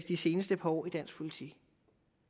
de seneste par år i dansk politik